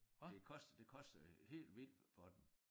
Det koster det koster helt vildt for dem